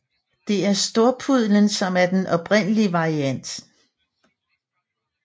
Det er storpudlen som er den oprindelige variant